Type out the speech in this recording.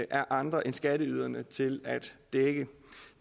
er andre end skatteyderne til at dække